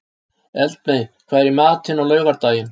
Eldmey, hvað er í matinn á laugardaginn?